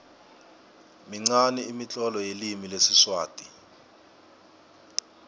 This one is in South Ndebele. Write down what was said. minqani imitlolo yelimi lesiswati